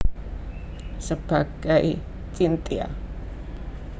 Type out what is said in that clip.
Sebagai Chintya